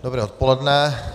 Dobré odpoledne.